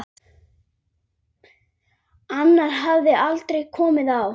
Annar hafði aldrei komið á